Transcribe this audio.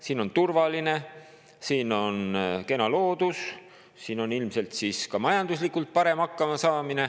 Siin on turvaline, siin on kena loodus, siin on ilmselt ka majanduslikult parem hakkama saada.